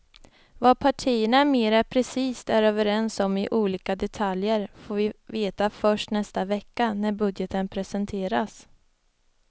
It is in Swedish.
Vad partierna mera precist är överens om i olika detaljer får vi veta först nästa vecka när budgeten presenteras.